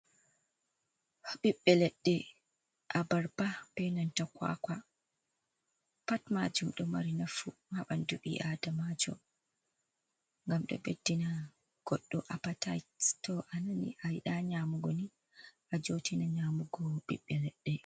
Ɓiɓbe leɗɗe, abarba be nanta kwakwa. Pat maajum ɗo mari nafu haa ɓandu ɓii aadamajo, ngam ɗo ɓeddina goɗɗo apataits. To a nani a yiɗaa nyamugo ni a jootina nyamugo biɓɓe leɗɗe.